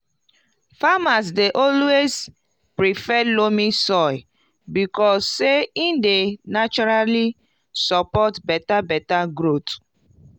farmers dey always prefer loamy soil because say e dey naturally support beta beta growth